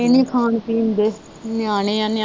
ਕੋਈ ਨਹੀਂ ਖਾਣ ਪੀਣ ਦੇ ਨਿਆਣੇ ਆ ਨਿਆਣੇ